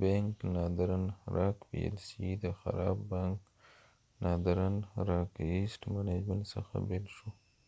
بینک ناردن راک پی ایل سی د خراب بانک ناردرن راک ایسیټ منجمنټ څخه بیل شو